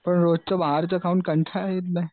रोजच बाहेरच खाऊन कंटाळा येत नाही?